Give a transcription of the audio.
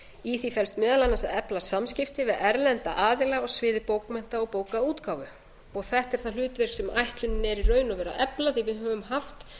í því felst meðal annars að efla samskipti við erlenda aðila á sviði bókmennta og bókaútgáfu og þetta er það hlutverk sem ætlunin er í raun og veru að efla því við höfum haft